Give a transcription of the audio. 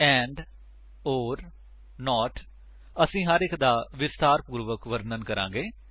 and or note ਅਸੀ ਹਰ ਇੱਕ ਦਾ ਵਿਸਤਾਰਪੂਰਵਕ ਵਰਨਣ ਕਰਾਂਗੇ